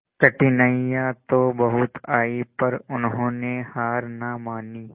कठिनाइयां तो बहुत आई पर उन्होंने हार ना मानी